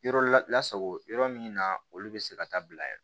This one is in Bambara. Yɔrɔ lasago yɔrɔ min na olu be se ka taa bila yɛrɛ